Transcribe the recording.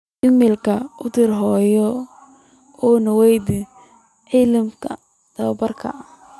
iimayl u dir hooyo oo weydii cimilada toddobaadkan